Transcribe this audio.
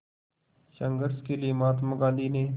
संघर्ष के लिए महात्मा गांधी ने